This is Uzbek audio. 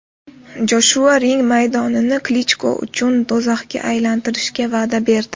Joshua ring maydonini Klichko uchun do‘zaxga aylantirishga va’da berdi.